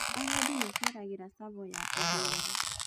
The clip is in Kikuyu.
Agendi maceragĩra Tsavo ya ithũĩro.